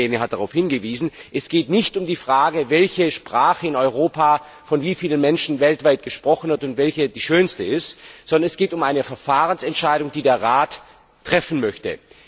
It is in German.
Der Kollege Lehne hat darauf hingewiesen. Es geht nicht um die Frage, welche Sprache in Europa von wie vielen Menschen weltweit gesprochen wird und welche die schönste ist, sondern es geht um eine Verfahrensentscheidung, die der Rat treffen möchte.